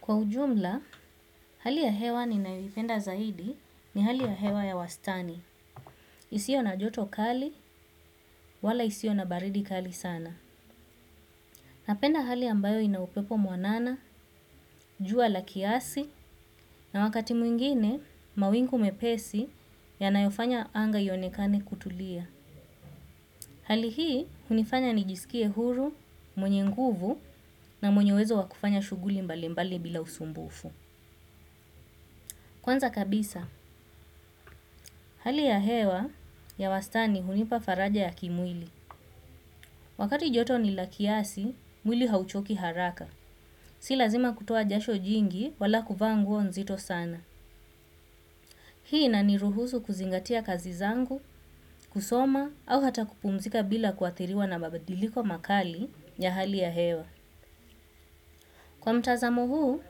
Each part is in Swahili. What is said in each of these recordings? Kwa ujumla, hali ya hewa ni ninayoipenda zaidi ni hali ya hewa ya wastani. Isio na joto kali, wala isio na baridi kali sana. Napenda hali ambayo ina upepo mwanana, jua la kiasi, na wakati mwingine, mawingu mepesi yanayofanya anga ionekane kutulia. Hali hii hunifanya nijiskie huru, mwenye nguvu na mwenye uwezo wakufanya shughuli mbalimbali bila usumbufu. Kwanza kabisa, hali ya hewa ya wastani hunipa faraja ya kimwili. Wakati joto ni la kiasi, mwili hauchoki haraka. Si lazima kutoa jasho jingi wala kuvaa nguo nzito sana. Hii inaniruhusu kuzingatia kazi zangu, kusoma, au hata kupumzika bila kuathiriwa na mabadiliko makali ya hali ya hewa. Kwa mtazamu huu,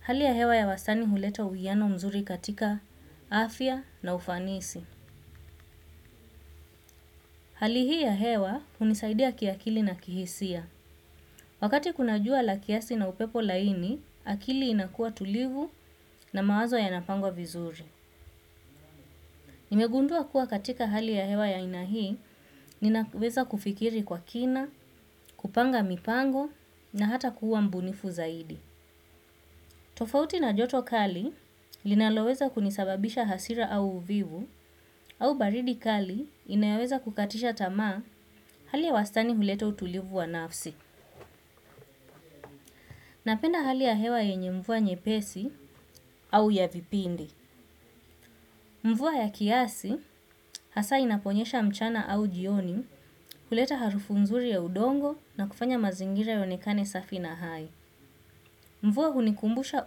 hali ya hewa ya wastani huleta uiano mzuri katika afya na ufanisi. Hali hii ya hewa hunisaidia kiakili na kihisia. Wakati kuna jua la kiasi na upepo laini, akili inakua tulivu na mawazo yanapangwa vizuri. Nimegundua kuwa katika hali ya hewa ya aina hii, ninaweza kufikiri kwa kina, kupanga mipango na hata kuwa mbunifu zaidi. Tofauti na joto kali, linaloweza kunisababisha hasira au uvivu, au baridi kali inayoweza kukatisha tamaa hali ya wastani huleta tulivu wa nafsi. Napenda hali ya hewa yenye mvua nyepesi au ya vipindi. Mvua ya kiasi hasa inaponyesha mchana au jioni huleta harufu mzuri ya udongo na kufanya mazingira yonekane safi na hai. Mvua hunikumbusha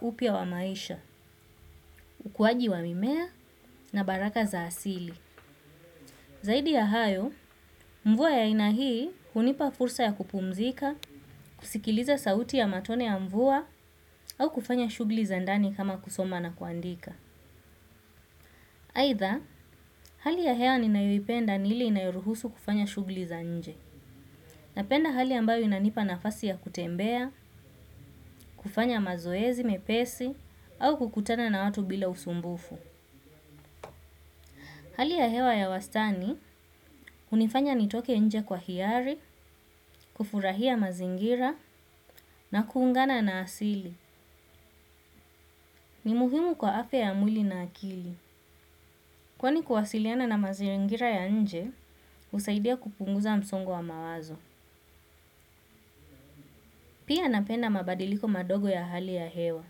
upya wa maisha, ukuaji wa mimea na baraka za asili. Zaidi ya hayo, mvua ya aina hii hunipa fursa ya kupumzika, kusikiliza sauti ya matone ya mvua au kufanya shughuli za ndani kama kusoma na kuandika. Aidha, hali ya hewa ninayoipenda ni ile inayoruhusu kufanya shughli za nje. Napenda hali ambayo inanipa nafasi ya kutembea, kufanya mazoezi, mepesi, au kukutana na watu bila usumbufu. Hali ya hewa ya wastani, hunifanya nitoke nje kwa hiali, kufurahia mazingira, na kuungana na asili. Ni muhimu kwa afya ya mwili na akili. Kwani kuwasiliana na mazingira ya nje, husaidia kupunguza msongo wa mawazo. Pia napenda mabadiliko madogo ya hali ya hewa,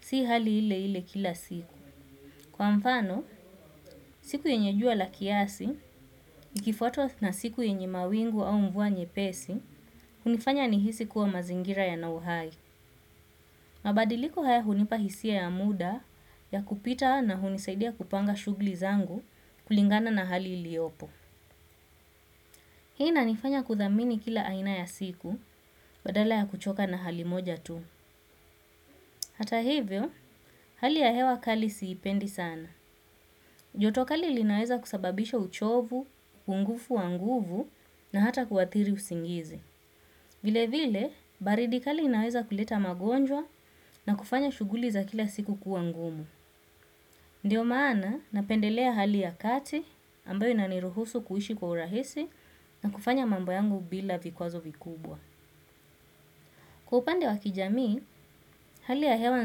si hali ile ile kila siku. Kwa mfano, siku yenye jua la kiasi, ikifuatwa na siku yenye mawingu au mvua nyepesi, hunifanya nihisi kuwa mazingira yana uhai. Mabadiliko haya hunipa hisia ya muda ya kupita na hunisaidia kupanga shughli zangu kulingana na hali iliopo. Hii inanifanya kuthamini kila aina ya siku, badala ya kuchoka na hali moja tu. Hata hivyo, hali ya hewa kali siipendi sana. Joto kali lilinaweza kusababisha uchovu, upungufu wa nguvu na hata kuathiri usingizi. Vile vile, baridi kali lilinaweza kuleta magonjwa na kufanya shughuli za kila siku kuwangumu. Ndiyo maana napendelea hali ya kati ambayo inaniruhusu kuishi kwa urahisi na kufanya mambo yangu bila vikwazo vikubwa. Kwa upande wa kijamii, hali ya hewa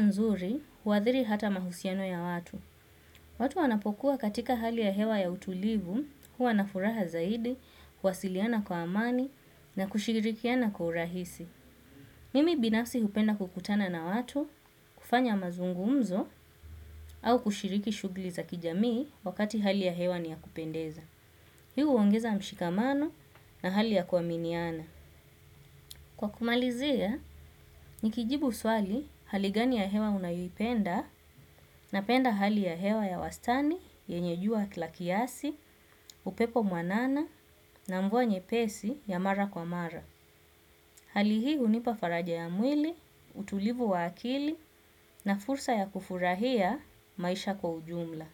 nzuri huathiri hata mahusiano ya watu. Watu wanapokuwa katika hali ya hewa ya utulivu huwa na furaha zaidi, kuwasiliana kwa amani na kushirikiana kwa urahisi. Mimi binafsi hupenda kukutana na watu, kufanya mazungumzo au kushiriki shugli za kijamii wakati hali ya hewa niyakupendeza. Hii huongeza mshikamano na hali ya kuaminiana. Kwa kumalizia, nikijibu swali hali gani ya hewa unayoipenda napenda hali ya hewa ya wastani yenye jua la kiasi, upepo mwanana na mvua nyepesi ya mara kwa mara. Hali hii hunipa faraja ya mwili, utulivu wa akili na fursa ya kufurahia maisha kwa ujumla.